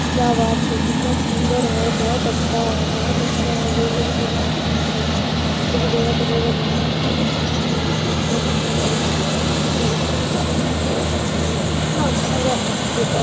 क्या बात है कितना सुन्दर है बहोत अच्छा है बहोत अच्छा है गौड़ लगे भगवान जी के हम भी गुरु दया करिएगा भगवान बहोत अच्छा काम है ये बहुत सुन्दर लग रहा है अच्छा लग रहा है क्या बताऊ बहोत अच्छा लग रहा इतना अच्छा लग रहा है मत पूछो।